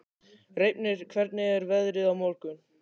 Reifnir, hvernig er veðrið á morgun?